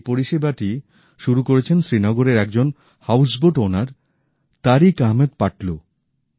এই পরিষেবাটি শুরু করেছেন শ্রীনগরের একজন হাউসবোট মালিক তারিখ আহমেদ পাতলু